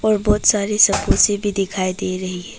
और बहुत सारी समोसे भी दिखाई दे रही है।